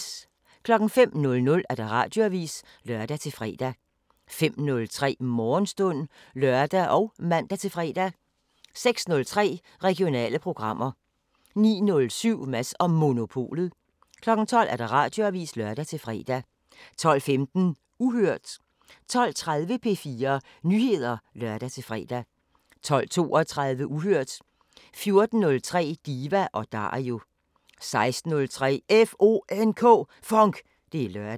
05:00: Radioavisen (lør-fre) 05:03: Morgenstund (lør og man-fre) 06:03: Regionale programmer 09:07: Mads & Monopolet 12:00: Radioavisen (lør-fre) 12:15: Uhørt 12:30: P4 Nyheder (lør-fre) 12:32: Uhørt 14:03: Diva & Dario 16:03: FONK! Det er lørdag